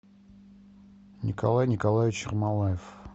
николай николаевич ермолаев